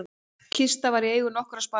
Kista var í eigu nokkurra sparisjóða